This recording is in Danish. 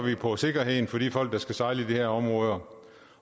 på sikkerheden for de folk der skal sejle i de her områder